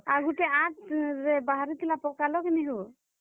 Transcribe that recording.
ଆର୍ ଗୁଟେ ଆଠ ରେ ବାହାରିଥିଲା, ପକାଲ କିନି ହୋ?